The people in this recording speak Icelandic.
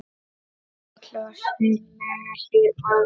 Karl var sérlega hlýr maður.